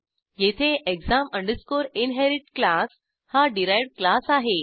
येथे exam inherit class हा derived class आहे